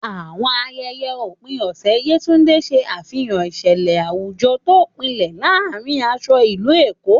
Àwọn ayẹyẹ òpin ọ̀sẹ̀ Yetunde ṣe àfihàn ìṣẹ̀lẹ̀ àwùjọ tó gbilẹ̀ láàárín aṣọ ìlú Èkó.